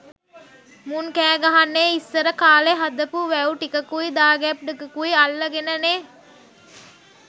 මුන් කෑ ගහන්නෙ ඉස්සර කාලෙ හදපු වැව් ටිකකුයි දාගැබ් ටිකකුයි අල්ල ගෙන නෙ.